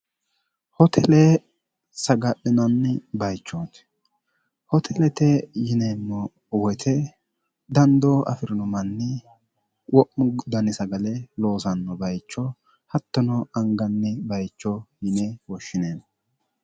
hotele sagadhinanni bayichooti hotelete yineemmo woyite dandoo afi'rino manni wo'mu dani sagale loosanno bayicho hattono anganni bayicho hine woshshineemmo